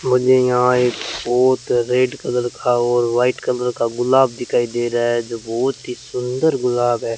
मुझे यहां एक बहुत रेड कलर का और वाइट कलर का गुलाब दिखाई दे रहा है जो बहुत ही सुंदर गुलाब है।